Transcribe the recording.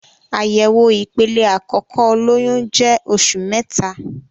Àyẹ̀wò ìpele àkókò olóyun jẹ oṣù mẹta.